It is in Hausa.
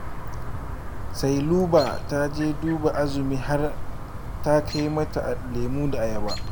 Sailuba ta je duba Azumi har ta kai mata lemo da ayaba